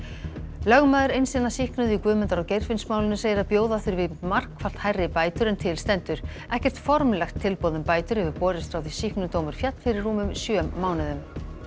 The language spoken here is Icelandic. lögmaður eins hinna sýknuðu í Guðmundar og Geirfinnsmálinu segir að bjóða þurfi margfalt hærri bætur en til stendur ekkert formlegt tilboð um bætur hefur borist frá því sýknudómur féll fyrir rúmum sjö mánuðum